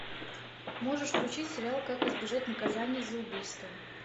можешь включить сериал как избежать наказания за убийство